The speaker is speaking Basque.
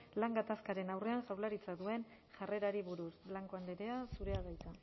lan gatazkaren aurrean jaurlaritzak duen jarrerari buruz blanco andrea zurea da hitza